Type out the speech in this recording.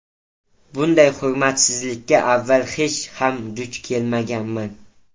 Bunday hurmatsizlikka avval hech ham duch kelmaganman.